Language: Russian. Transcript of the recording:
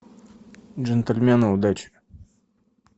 джентльмены удачи